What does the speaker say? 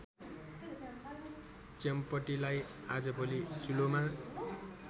च्याम्पटीलाई आजभोलि चुल्होमा